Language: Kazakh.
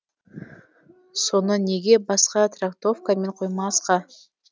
соны неге басқа трактовкамен қоймасқа